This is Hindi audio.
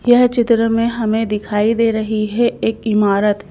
यह चित्र में हमें दिखाई दे रही है एक इमारत---